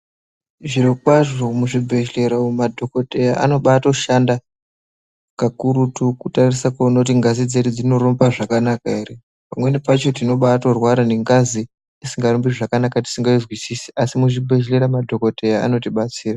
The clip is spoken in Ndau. Zviro kwazvo muzvibhehlera umu madhokodheya anobatoshanda pakurutu kuti anase kuona kuti ngazi dzedu dzinorumba zvakanaka ere. Pamweni pacho tinobatorwara nengazi isingarumbi zvakanaka tisingaizwisisi asi muzvibhehlera madhokodheya anotibatsira.